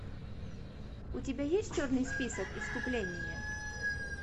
у тебя есть черный список искупление